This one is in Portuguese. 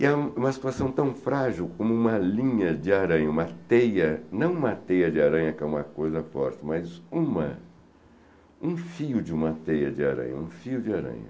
E há uma situação tão frágil como uma linha de aranha, uma teia, não uma teia de aranha, que é uma coisa forte, mas um fio de uma teia de aranha, um fio de aranha.